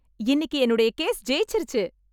இன்னிக்கு என்னுடைய கேஸ் ஜெயிச்சிருச்சு